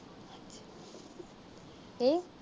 ਕੀ